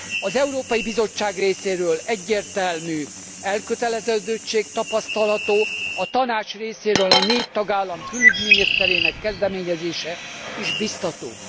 Az Európai Bizottság részéről egyértelmű elköteleződöttség tapasztalható, a Tanács részéről a négy tagállam külügyminisztereinek kezdeményezése is bíztató.